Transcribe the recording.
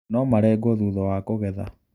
Nũmarengwo thutha wa kũgetha.